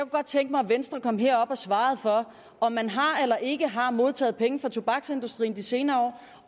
godt tænke mig at venstre kom herop og svarede på om man har eller ikke har modtaget penge fra tobaksindustrien de senere år